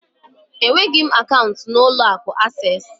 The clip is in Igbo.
Enweghị m akaụntụ n'ụlọ akụ Asés